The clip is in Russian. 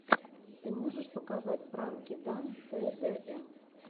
ты можешь показать пранки дан тэ дэ эм